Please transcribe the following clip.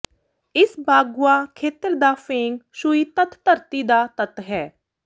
ਇਸ ਬਾੱਗੂਆ ਖੇਤਰ ਦਾ ਫੇਂਗ ਸ਼ੂਈ ਤੱਤ ਧਰਤੀ ਦਾ ਤੱਤ ਹੈ